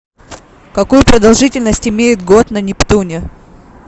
какую продолжительность имеет год на нептуне